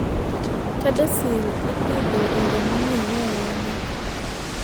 CADASIL ipidho e yo mong'ere ahinya.